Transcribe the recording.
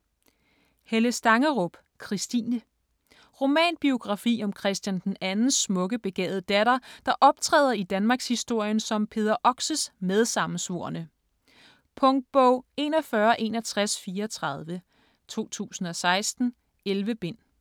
Stangerup, Helle: Christine Romanbiografi om Christian II's smukke, begavede datter, der optræder i danmarkshistorien som Peder Oxes medsammensvorne. Punktbog 416134 2016. 11 bind.